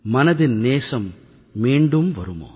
மனதின் நேசம் மீண்டும் வருமோ